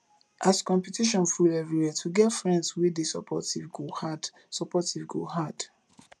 as competition full everywhere to get friends wey dey supportive go hard supportive go hard